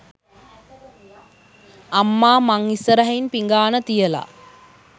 අම්මා මං ඉස්සරහින් පිඟාන තියලා